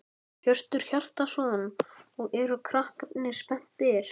Hjörtur Hjartarson: Og eru krakkarnir spenntir?